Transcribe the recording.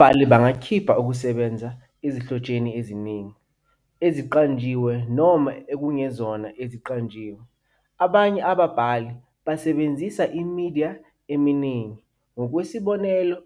Ababhali bangakhipha okokusebenza ezinhlotsheni eziningi, eziqanjiwe noma ezingezona eziqanjiwe. Abanye ababhali basebenzisa imidiya eminingi - ngokwesibonelo,